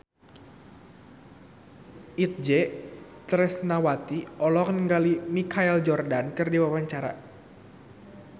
Itje Tresnawati olohok ningali Michael Jordan keur diwawancara